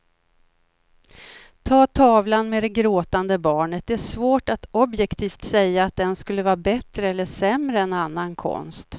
Ta tavlan med det gråtande barnet, det är svårt att objektivt säga att den skulle vara bättre eller sämre än annan konst.